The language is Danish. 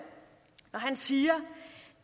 når han siger